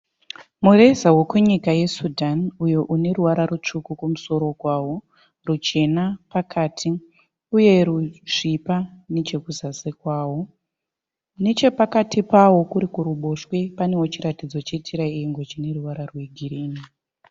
Mureza wekunyika yeSudan uyo une ruvara rutsvuku kumusoro kwawo, ruchena pakati uye rusvipa nechekuzasi kwavo. Nechepakati pavo kuri kuruboshwe panewo chiratidzo che tiraiengo chine ruvara rwegirini.